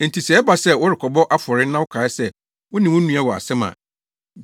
“Enti sɛ ɛba sɛ worekɔbɔ afɔre na wokae sɛ wo ne wo nua wɔ asɛm a,